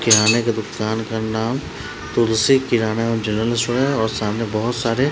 किराने के दुकान का नाम तुलसी किराना जनरल स्टोर है और सामने बहुत सारे --